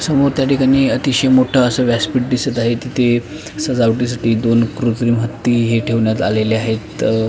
समोर त्या ठिकाणी अतिशय मोठं असं व्यासपीठ दिसत आहे तिथे सजावटी साठी दोन कृत्रिम हत्ती हे ठेवण्यात आलेले आहे.